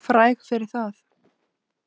Fræg fyrir það.